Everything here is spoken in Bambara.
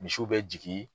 Misiw bɛ jigin